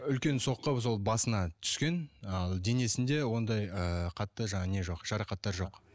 үлкен соққы сол басына түскен ал денесінде ондай ыыы қатты жаңағы не жоқ жарақаттар жоқ